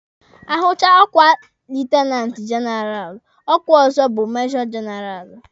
Ahụchaa ọkwa lietenanti jenaralụ, ọkwa ọzọ bụ majọ jenaralụ.